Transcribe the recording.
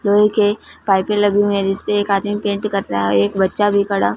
लोहे के पाइपें लगी हुईं हैं जिसपे एक आदमी पेंट कर रहा है एक बच्चा भी खड़ा--